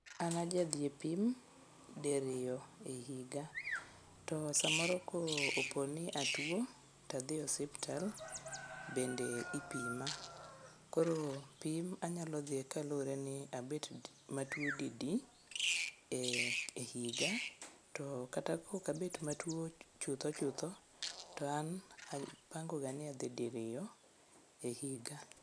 An ajadhi e pim diriyo e higa to samoro koponi atuo tadhi osiptal bende ipima koro pim anyalo dhiye kaluwre ni abet matuo didi e higa to kata kok abet matuo chuthochutho to an apango ga ni adhi diriyo e higa.